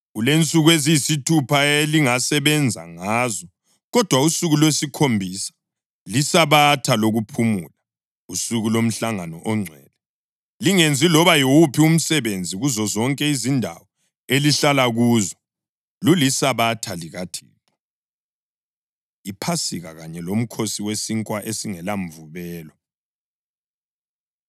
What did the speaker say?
“ ‘Kulensuku eziyisithupha elingasebenza ngazo, kodwa usuku lwesikhombisa liSabatha lokuphumula, usuku lomhlangano ongcwele. Lingenzi loba yiwuphi umsebenzi; kuzozonke izindawo elihlala kuzo, luliSabatha likaThixo.’ ” IPhasika Kanye LoMkhosi WeSinkwa EsingelaMvubelo